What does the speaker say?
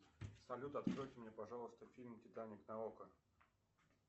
салют откройте мне пожалуйста фильм титаник на окко